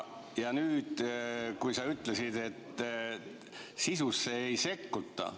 Sa ütlesid, et sisusse ei sekkuta.